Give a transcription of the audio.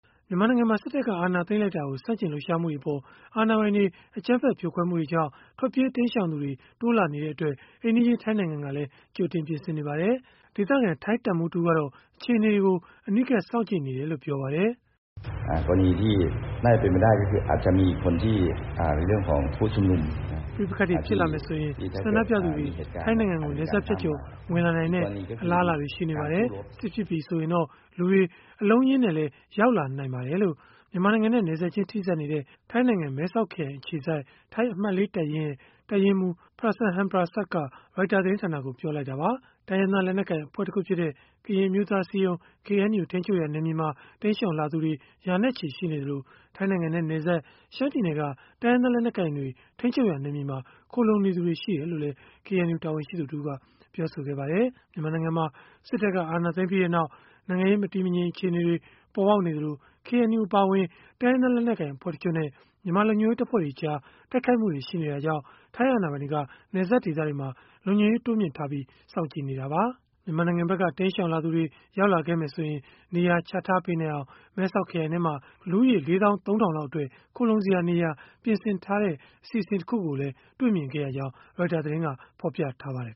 မြန်မာနိုင်ငံမှာ စစ်တပ်က အာဏာသိမ်းလိုက်တာကို ဆန့်ကျင်လှုပ်ရှားမှုတွေအပေါ် အာဏာပိုင်တွေ အကြမ်းဖက် ဖြိုခွဲမှုတွေကြောင့် ထွက်ပြေးတိမ်းရှောင်သူတွေ တိုးလာနေတာကြောင့်၊ အိမ်နီးချင်း ထိုင်းနိုင်ငံကလည်း ကြိုတင်ပြင်ဆင်နေပါတယ်။ ဒေသခံ ထိုင်းတပ်မှူးတဦးကတော့ အခြေအနေတွေကို အနီးကပ် စောင့်ကြည့်နေတယ်လို့ ပြောဆိုခဲ့တာပါ။ “ပဋိပက္ခတွေ ဖြစ်လာမယ်ဆိုရင် ဆန္ဒပြသူတွေ ထိုင်းနိုင်ငံကို နယ်စပ်ဖြတ်ကျော် ဝင်လာနိုင်တဲ့ အလားအလာတွေ ရှိနေပါတယ်။ စစ်ဖြစ်ပြီ ဆိုရင်တော့ လူတွေ အလုံးအရင်းနဲ့လည်း ရောက်လာနိုင်ပါတယ်။” လို့ မြန်မာနိုင်ငံနဲ့နယ်စပ်ချင်း ထိစပ်နေတဲ့ ထိုင်းနိုင်ငံ မဲဆောက်ခရိုင် အခြေစိုက် ထိုင်းအမှတ် ၄ တပ်ရင်း၊ တပ်ရင်းမှူး Prasan Henprasert က Reuters သတင်းဌာနကို ပြောဆိုလိုက်တာပါ။ တိုင်းရင်းသား လက်နက်ကိုင် အဖွဲ့တခုဖြစ်တဲ့ ကရင်အမျိုးသားအစည်းအရုံး KNU ထိန်းချုပ်ရာ နယ်မြေမှာ တိမ်းရှောင်လာသူတွေ ရာနဲ့ချီ ရှိနေသလို၊ ထိုင်းနိုင်ငံနဲ့ နယ်စပ် ရှမ်းပြည်နယ်က တိုင်းရင်းသား လက်နက်ကိုင်တွေ ထိန်းချုပ်ရာ နယ်မြေမှာ ခိုလှုံနေသူတွေ ရှိတယ်လို့လည်း KNU တာဝန်ရှိသူတဦးကပြောပါတယ်။ မြန်မာနိုင်ငံမှာ စစ်တပ်က အာဏာသိမ်းပြီးနောက် နိုင်ငံရေး မတည်မငြိမ် အခြေအနေတွေ ပေါ်ပေါက်နေသလို၊ KNU အပါအဝင် တိုင်းရင်းသား လက်နက်ကိုင် အဖွဲ့တချို့နဲ့ မြန်မာလုံခြုံရေးတပ်ဖွဲ့တွေကြား တိုက်ခိုက်မှုတွေ ရှိနေတာကြောင့် ထိုင်းအာဏာပိုင်တွေက နယ်စပ်ဒေသတွေမှာ လုံခြုံရေး တိုးမြှင့်ထားပြီး စောင့်ကြည့်နေတာပါ။ မြန်မာနိုင်ငံဖက်က တိမ်းရှောင်လာသူတွေ ရောက်လာခဲ့မယ်ဆိုရင် နေရာချထားပေးနိုင်အောင် မဲဆောက်ခရိုင်ထဲမှာ လူဦးရေ ၄၃,၀၀၀ လောက်အတွက် ခိုလှုံစရာနေရာ ပြင်ဆင်ထားတဲ့ အစီအစဉ်တခုကိုလည်း တွေ့မြင်ခဲ့ရကြောင်း Reuters သတင်းက ဖော်ပြပါတယ်